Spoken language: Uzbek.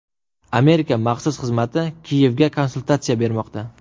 Amerika maxsus xizmati Kiyevga konsultatsiya bermoqda.